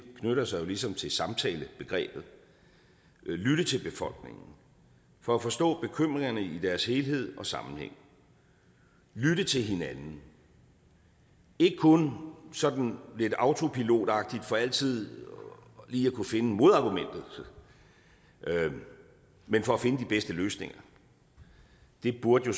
knytter sig jo ligesom til samtalebegrebet lytte til befolkningen for at forstå bekymringerne i deres helhed og sammenhæng lytte til hinanden ikke kun sådan lidt autopilotagtigt for altid lige at kunne finde modargumentet men for at finde de bedste løsninger det burde jo